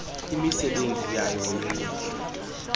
imisebenzi yayo yemihla